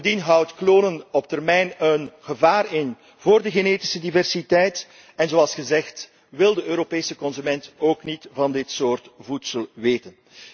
Bovendien houdt klonen op termijn een gevaar in voor de genetische diversiteit en zoals gezegd wil de Europese consument ook niet van dit soort voedsel weten.